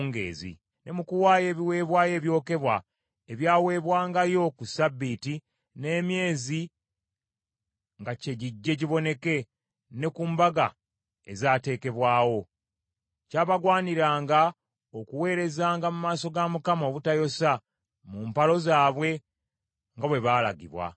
ne mu kuwaayo ebiweebwayo ebyokebwa, ebyaweebwangayo ku ssabbiiti, n’emyezi nga kye gijje giboneke, ne ku mbaga ezaateekebwawo. Kyabagwaniranga okuweerezanga mu maaso ga Mukama obutayosa, mu mpalo zaabwe, nga bwe balagibwa.